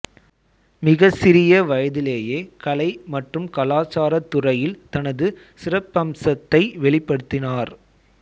மிகச் சிறிய வயதிலேயே கலை மற்றும் கலாச்சாரத் துறையில் தனது சிறப்பம்சத்தை வெளிப்படுத்தினார்